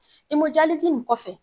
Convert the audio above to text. Imojalizi in kɔfɛ